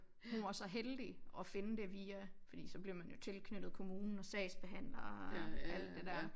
Hun var så heldig at finde det via fordi så bliver man jo tilknyttet kommunen og sagsbehandler og alt det dér